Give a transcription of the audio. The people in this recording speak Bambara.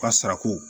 U ka sarako